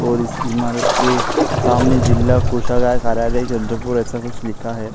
और इस इमारत के सामने जिल्हा कोषागार कार्यालय चंद्रपुर ऐसा कुछ लिखा है।